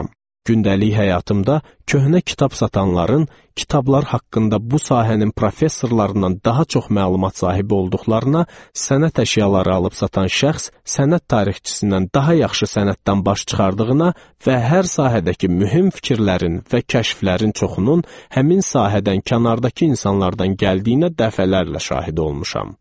Gündəlik həyatımda köhnə kitab satanların kitablar haqqında bu sahənin professorlarından daha çox məlumat sahibi olduqlarına, sənət əşyaları alıb satan şəxs sənət tarixçisindən daha yaxşı sənətdən baş çıxardığına və hər sahədəki mühüm fikirlərin və kəşflərin çoxunun həmin sahədən kənardakı insanlardan gəldiyinə dəfələrlə şahid olmuşam.